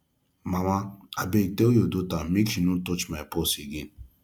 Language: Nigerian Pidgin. mama abeg tell your daughter make she no touch my purse again